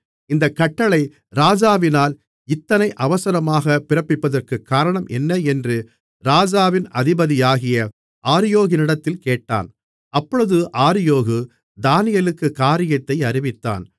இந்தக் கட்டளை ராஜாவினால் இத்தனை அவசரமாக பிறப்பிப்பதற்குக் காரணம் என்ன என்று ராஜாவின் அதிபதியாகிய ஆரியோகினிடத்தில் கேட்டான் அப்பொழுது ஆரியோகு தானியேலுக்குக் காரியத்தை அறிவித்தான்